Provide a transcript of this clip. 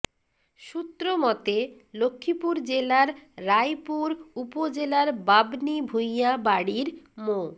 সূত্র মতে লক্ষ্মীপুর জেলার রায়পুর উপজেলার বাবনী ভূইয়া বাড়ির মো